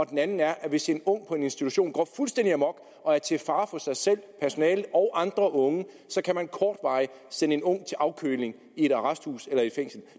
den anden er at hvis en ung på en institution går fuldstændig amok og er til fare for sig selv personale og andre unge kan man kortvarigt sende en ung til afkøling i et arresthus eller et fængsel